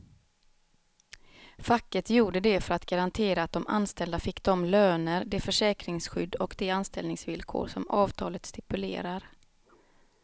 Facket gjorde det för att garantera att de anställda fick de löner, det försäkringsskydd och de anställningsvillkor som avtalet stipulerar.